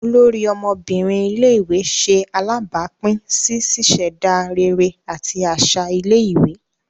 Olórí ọmọbinrin ilé-ìwé ṣe alabapin sí ṣiṣẹda réré àti aṣa ilé-ìwé